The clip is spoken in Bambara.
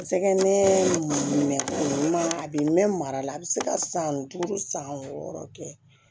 N sɛgɛn ma mɛn a bɛ mɛn mara la a bɛ se ka san duuru san wɔɔrɔ kɛ